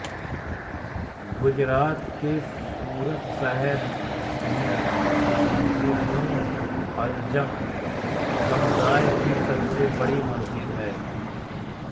गुजरात के सूरत शहर में मस्जिदएमोअज़्ज़म समुदाय की सबसे बड़ी मस्जिद है